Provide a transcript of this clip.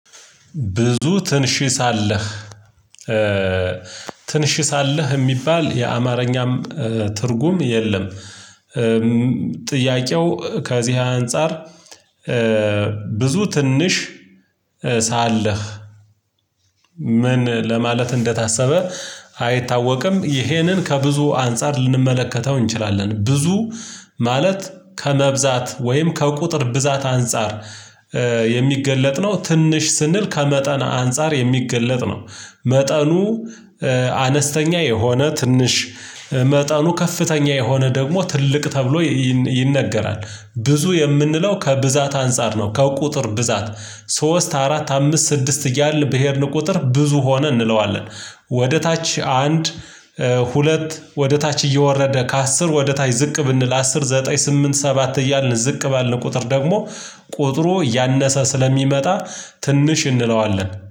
ብዙ ትንሽ ሳለህ ትንሽ ሳለህ የሚባል የአማርኛም ትርጉም የለም። ጥያቄው ከዚህ አንፃር ብዙ ትንሽ ሳለህ ምን ለማለት እንደታሰበ አይታወቅም? ይሄንን ከብዙ አንፃር ልንመለከተው እንችላለን። ብዙ ማለት ከመብዛት ወይም ከቁጥር ብዛት አንፃር የሚገለጥ ነው። ትንሽ ስንል ከመጠን አንፃር የሚገለጥ ነው። መጠኑ አነስተኛ የሆነ ትንሽ መጠኑ ከፍተኛ የሆነ ደግሞ ትልቅ ተብሎ ይነገራል። ብዙ የምንለው ከብዛት አንፃር ነው ከቁጥር ብዛት ሶስት አራት አምስት ስድስት እያልን በሄድን ቁጥር ብዙ ሆነ እንለዋለን። ወደ ታች አንድ ሁለት ወደ ታች እየወረደ ከአስር ወደ ታች ዝቅ ብንል አስር ዘጠኝ ስምንት ሰባት እያልን ዝቅ ባልን ቁጥር ደግሞ ቁጥሩ እያነሰ ስለሚመጣ ትንሽ እንለዋለን